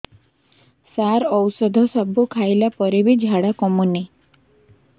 ସାର ଔଷଧ ସବୁ ଖାଇଲା ପରେ ବି ଝାଡା କମୁନି